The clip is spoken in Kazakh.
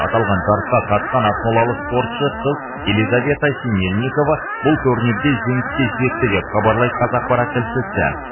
аталған жарысқа қатысқан ақмолалық спортшы қыз елизавета синельникова бұл турнирде жеңіске жетті деп хабарлайды қазақпарат тілшісі